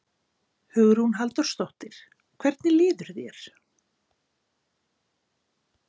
Hugrún Halldórsdóttir: Hvernig líður þér?